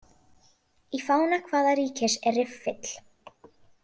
Í fána hvaða ríkis er riffill?